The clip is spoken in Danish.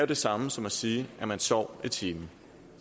det samme som at sige at man sov i timen